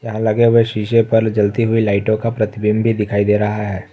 यहां लगे हुए शीशे पर जलती हुई लाइटों का प्रतिबिंब भी दिखाई दे रहा है।